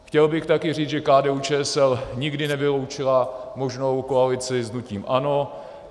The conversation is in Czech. Chtěl bych taky říct, že KDU-ČSL nikdy nevyloučila možnou koalici s hnutím ANO.